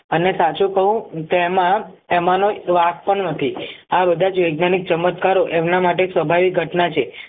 અને સાચું કહું તો એમાં એમનો વાંક પણ નથી આ બધા જ વૈજ્ઞાનિક ચમત્કારો એમના માટે સ્વાભાવિક ઘટના છે.